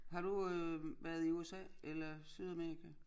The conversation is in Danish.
Har du øh været i USA eller Sydamerika?